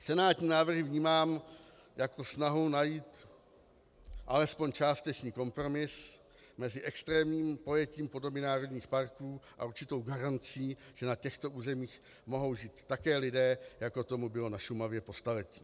Senátní návrhy vnímám jako snahu najít alespoň částečný kompromis mezi extrémním pojetím podoby národních parků a určitou garancí, že na těchto územích mohou žít také lidé, jako tomu bylo na Šumavě po staletí.